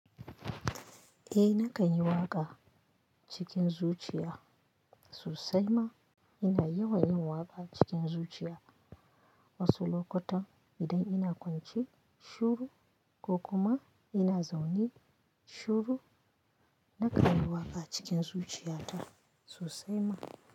Eh nakan yi waƙa cikin zuciya sosai ma ina yawan yin waƙa cikin zuciya wasu lokutan idan ina kwance shuru ko kuma ina zaune shuru nakan yi waƙa cikin zuciyata sosai ma.